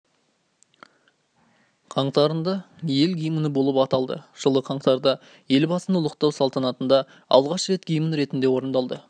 қаңтарында ел гимні болып аталды жылы қаңтарда елбасыны ұлықтау салтанатында алғаш рет гимн ретінде орындалды